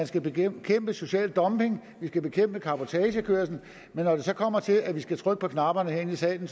skal bekæmpe social dumping at vi skal bekæmpe cabotagekørsel men når det så kommer til at vi skal trykke på knapperne herinde i salen